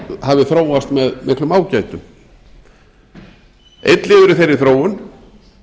hafi þróast með miklum ágætum einn liður í þeirri þróun